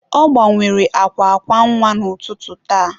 Ọ gbanwere akwa akwa nwa n'ụtụtụ taa.